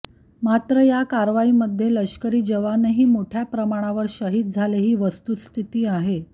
मात्र या करावाईमध्ये लष्करी जावनही मोठ्या प्रमाणावर शहीद झाले ही वस्तुस्थिती आहे